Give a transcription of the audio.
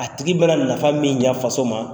A tigi mana nafa min ɲan faso ma.